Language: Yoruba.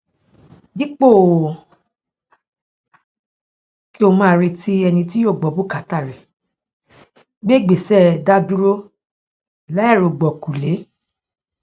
dípò kí o kí o máa retí ẹni tí yóò gbọ bùkátà rẹ gbé ìgbéṣẹ dádúró láìrògbọkúlé